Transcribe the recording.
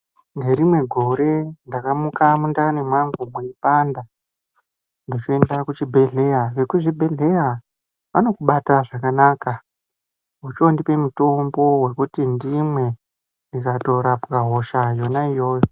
Ngerimwe gore ndakamuka mundani mwangu mweipanda ndechoenda kuchibhedhleya. Vekuzvibhedhleya vanokubata zvakanaka. Vechondipa mutombo wekuti ndimwe, ndikatorapwa hosha yona iyoyo.